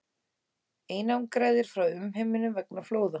Einangraðir frá umheiminum vegna flóða